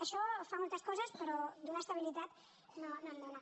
això fa moltes coses però donar estabilitat no en dóna